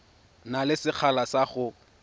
na le sekgala sa go